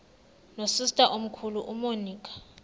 nosister omkhulu umonica